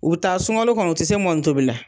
U be taa sunkalo kɔnɔ u te se mɔni tobi la